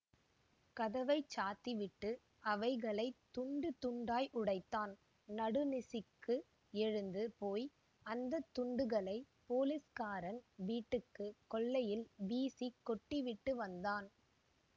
கதவை சாத்திவிட்டு அவைகளை துண்டு துண்டாய் உடைத்தான் நடு நிசிக்கு எழுந்து போய் அந்த துண்டுகளைப் போலீஸ்காரன் வீட்டு கொல்லையில் வீசி கொட்டி விட்டு வந்தான்